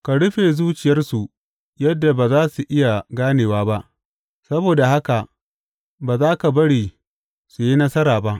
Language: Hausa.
Ka rufe zuciyarsu yadda ba za su iya ganewa ba, saboda haka ba za ka bari su yi nasara ba.